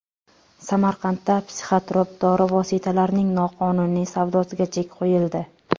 Samarqandda psixotrop dori vositalarining noqonuniy savdosiga chek qo‘yildi.